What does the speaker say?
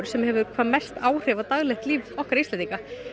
sem hefur hvað mest áhrif á daglegt líf okkar Íslendinga